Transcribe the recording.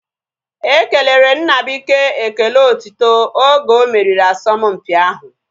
Ekelere Nnabuike ekele otiti oge omeriri asọmpi ahu